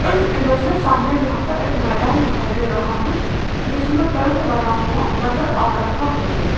इस इमेज में सामने यहां पर एक मैदान दिखाई दे रहा है जिसमें टेंट बना हुआ नजर आ रहा है।